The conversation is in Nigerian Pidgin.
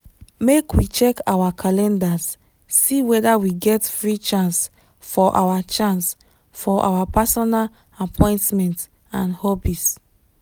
make we check our calendars see weda we get free chance for our chance for our personal appointments and hobbies.